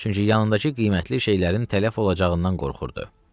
Çünki yanındakı qiymətli şeylərin tələf olacağından qorxurdu.